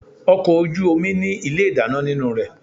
Ọkọ̀ ojú omi ní ilé ìdáná nínú rẹ̀.